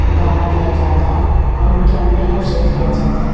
दाना दिया जाता है और उनके अंडे को सेल किया जाता है।